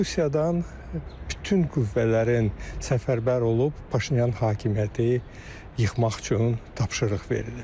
Rusiyadan bütün qüvvələrin səfərbər olub Paşinyan hökuməti yıxmaq üçün tapşırıq verilib.